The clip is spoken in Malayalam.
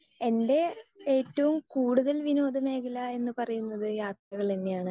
സ്പീക്കർ 2 എന്റെ ഏറ്റവും കൂടുതൽ വിനോദ മേഖല എന്ന് പറയുന്നത് യാത്രകൾ തന്നെയാണ്